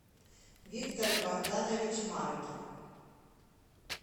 виктор богданович маркин